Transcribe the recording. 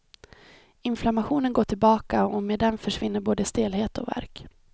Inflammationen går tillbaka och med den försvinner både stelhet och värk.